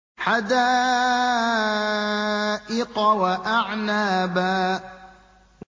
حَدَائِقَ وَأَعْنَابًا